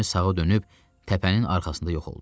Gəmi sağa dönüb təpənin arxasında yox oldu.